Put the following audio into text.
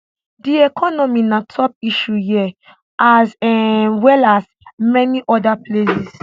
di economy na top issue here as um well as many oda places